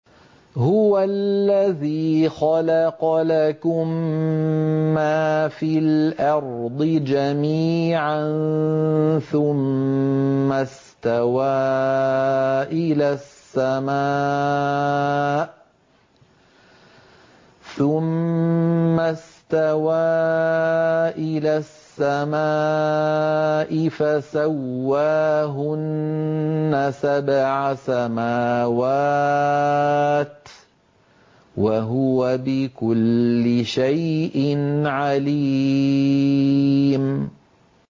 هُوَ الَّذِي خَلَقَ لَكُم مَّا فِي الْأَرْضِ جَمِيعًا ثُمَّ اسْتَوَىٰ إِلَى السَّمَاءِ فَسَوَّاهُنَّ سَبْعَ سَمَاوَاتٍ ۚ وَهُوَ بِكُلِّ شَيْءٍ عَلِيمٌ